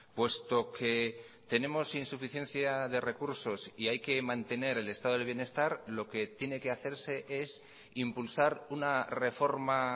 puesto que tenemos insuficiencia de recursos y hay que mantener el estado del bienestar lo que tiene que hacerse es impulsar una reforma